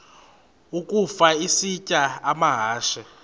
ukafa isitya amahashe